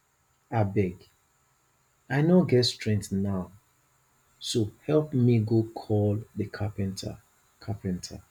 abeg i no get strength now so help me go call the carpenter carpenter